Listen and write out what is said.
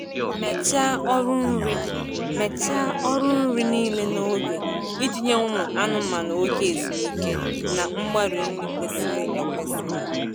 Mechaa ọrụ nri Mechaa ọrụ nri niile n'oge iji nye ụmụ anụmanụ oge ezumike na mgbari nri kwesịrị ekwesị.